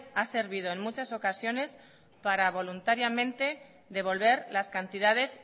ha servido en muchas ocasiones para voluntariamente devolver las cantidades